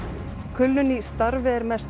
kulnun í starfi er mest